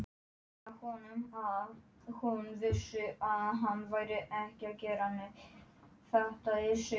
Þessi dagur er ekki ólíkur öðrum góðviðrisdögum.